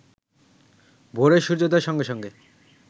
ভোরে সুর্যোদয়ের সঙ্গে সঙ্গে